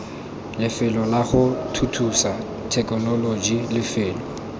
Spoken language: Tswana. lefelo lago thuthusa thekenoloji lefelo